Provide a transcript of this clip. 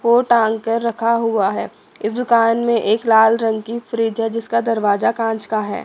वो टांग कर रखा हुआ है इस दुकान में एक लाल रंग की फ्रिज है जिसका दरवाजा कांच का है।